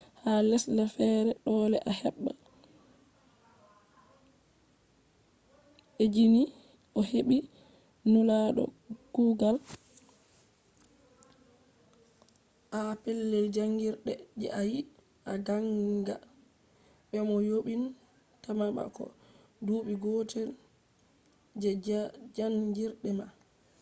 ha lesdeja fere dole a heba ezini ohebi nulado kugal ha pellel jangirde je a yidi a ganga be mo yobin ta ma ko je dubi gotel je janjirde ma